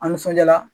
A nisɔnjaara